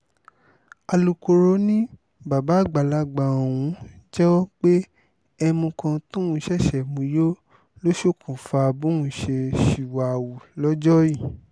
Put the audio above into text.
alūkkóró ni bàbá àgbàlagbà ọ̀hún jẹ́wọ́ pé ẹ̀mú kan tóun ṣẹ̀ṣẹ̀ mú yọ ló ṣokùnfà bóun ṣe ṣìwà-hù lọ́jọ́ yìí